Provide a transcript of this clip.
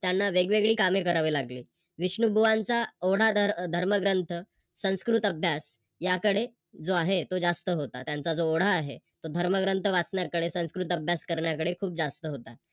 त्यांना वेगवेगळी कामे करावे लागली. विष्णुबुवांचा धर्मग्रंथ संस्कृत अभ्यास याकडे जो आहे तो जास्त होता त्याचा जो ओढा आहे तो धर्मग्रंथ वाचण्याकडे संस्कृत अभ्यास करण्याकडे जास्त होता.